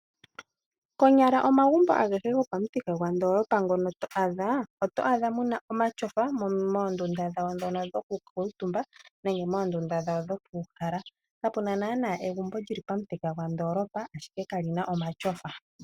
Konyala omagumbo agehe gopamuthika gwaandoolopa ngono to adha oto adha mu na omatyofa moondunda dhawo ndhono dhokukuutumba nenge moondunda dhawo dhokukala. Kapu na naanaa egumbo lyili pomuthika gwandoolopa ashike kali na omatyofa.